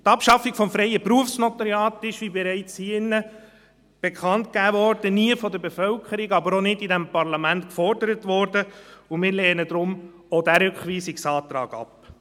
Die Abschaffung des freien Berufsnotariats wurde – wie hier in diesem Saal bereits bekannt gegeben wurde – von der Bevölkerung nie, aber auch vom Parlament nicht gefordert, und wir lehnen daher auch diesen Rückweisungsantrag ab.